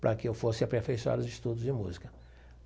para que eu fosse aperfeiçoar os estudos de música.